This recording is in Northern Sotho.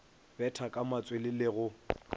betha ka matswele le go